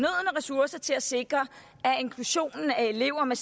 ressourcer til at sikre at inklusionen af elever med